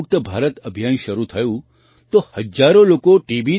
મુક્ત ભારત અભિયાન શરૂ થયું તો હજારો લોકો ટી